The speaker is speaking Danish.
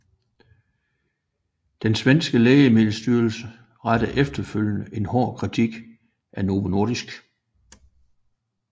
Den svenske Lægemiddelstyrelse rettede efterfølgende en hård kritik af Novo Nordisk